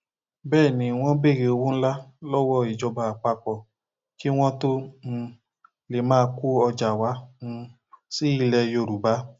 bẹẹ ni wọn béèrè owó ńlá lọwọ ìjọba àpapọ kí wọn tóó um lè máa kó ọjà wá um sí ilẹ yorùbá